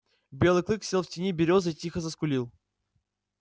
белый клык сел в тени берёзы и тихо заскулил